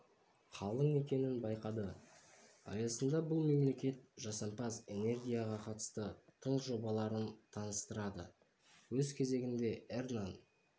қалың екенін байқады аясында бұл мемлекет жасампаз энергияға қатысты тың жобаларын таныстырады өз кезегінде эрнан